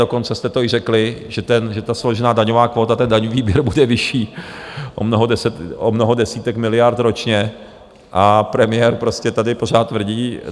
Dokonce jste to i řekli, že ta složená daňová kvóta, ten daňový výběr, bude vyšší o mnoho desítek miliard ročně, a premiér prostě tady pořád tvrdí...